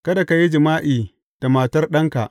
Kada ka yi jima’i da matar ɗanka.